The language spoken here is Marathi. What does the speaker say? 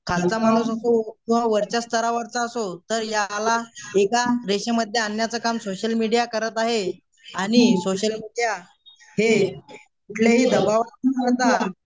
खालचा माणूस असो किंवा वरच्या स्तरावरचा असो तर याला एका रेषेमध्ये आणण्याचं काम सोशलमीडिया करत आहे आणि सोशल हे कुठलेही